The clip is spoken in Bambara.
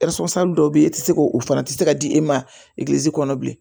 dɔw bɛ yen e tɛ se k'o fana tɛ se ka di e ma egilizi kɔnɔ bilen